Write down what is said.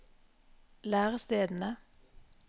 lærestedene